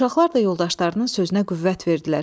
Uşaqlar da yoldaşlarının sözünə qüvvət verdilər.